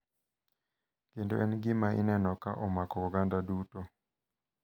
Kendo en gima ineno ka omako oganda duto